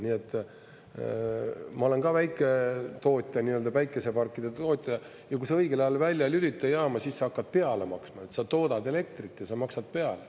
Nii et, ma olen ka väiketootja, nii-öelda päikeseparkide tootja, ja kui sa õigel ajal välja ei lülita jaama, siis sa hakkad peale maksma, sa toodad elektrit ja sa maksad peale.